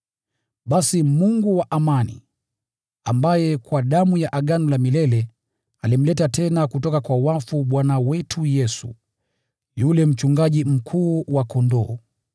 Basi Mungu wa amani, ambaye kwa damu ya Agano la milele alimleta tena kutoka kwa wafu Bwana wetu Yesu, yule Mchungaji Mkuu wa kondoo,